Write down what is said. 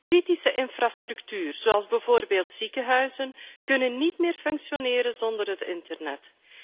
Kritieke infrastructuur, zoals bijvoorbeeld ziekenhuizen, kunnen niet meer functioneren zonder het internet.